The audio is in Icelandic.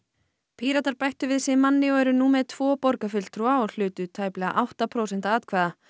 Píratar bættu við sig manni og eru nú með tvo borgarfulltrúa og hlutu tæplega átta prósent atkvæða